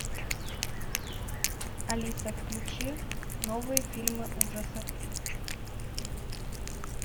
алиса включи новые фильмы ужасов